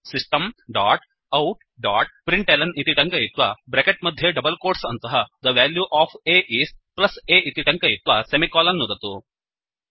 system dot out dot println इति टङ्कयित्वा bracket मध्ये डबल् कोट्स् अन्तः the value of a is a इति टङ्कयित्वा सेमिकोलन् नुदतु